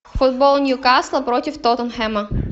футбол ньюкасла против тоттенхэма